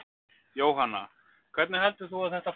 Jóhanna: Hvernig heldur þú að þetta fari?